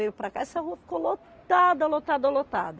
Veio para cá. Essa rua ficou lotada, lotada, lotada.